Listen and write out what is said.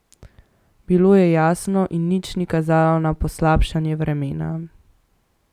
Bilo je jasno in nič ni kazalo na poslabšanje vremena.